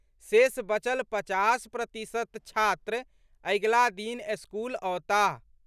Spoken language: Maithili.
शेष बचल पचास प्रतिशत छात्र अगिला दिन स्कूल अओताह।